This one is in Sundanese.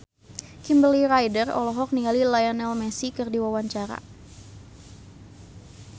Kimberly Ryder olohok ningali Lionel Messi keur diwawancara